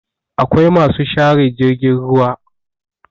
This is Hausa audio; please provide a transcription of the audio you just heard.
akwai masu share jirgin ruwa